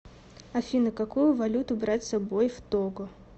афина какую валюту брать с собой в того